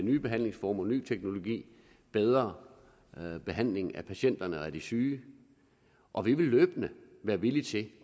nye behandlingsformer ny teknologi bedre behandling af patienterne og de syge og vi vil løbende være villige til